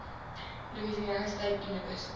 louisiana state university